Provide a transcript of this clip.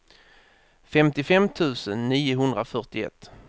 femtiofem tusen niohundrafyrtioett